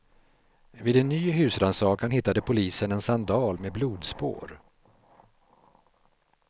Vid en ny husrannsakan hittade polisen en sandal med blodspår.